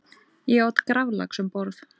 Ég át graflax um borð.